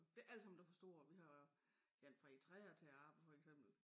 Det ikke allesammen dem fra Struer vi har ja alt fra Eritrea til at arbejde for eksempel